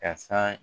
Ka san